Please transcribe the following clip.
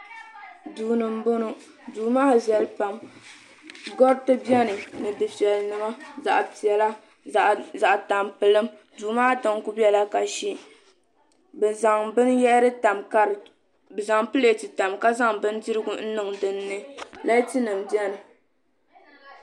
duu ni n bɔŋɔ duu maa viɛli pam gariti biɛni ni dufɛli nima zaɣ piɛla zaɣ tampilim duu maa tiŋ ku biɛla kasi bi zaŋ pilɛt tam ka zaŋ bindirigu n niŋ dinni laati nim biɛni